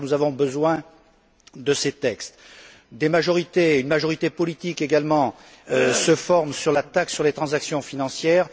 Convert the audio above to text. En effet, nous avons besoin de ces textes. Des majorités une majorité politique notamment se forment sur la taxe sur les transactions financières